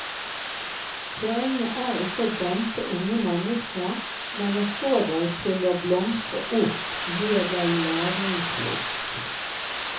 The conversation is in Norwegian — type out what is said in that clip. Poenget er ikkje å dempe unge menneske, men å få dei til å blomstre opp, gje dei læringslyst.